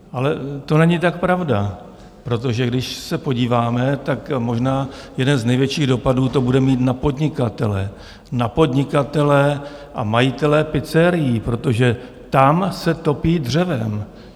Ale to není tak pravda, protože když se podíváme, tak možná jeden z největších dopadů to bude mít na podnikatele, na podnikatele a majitele pizzerií, protože tam se topí dřevem.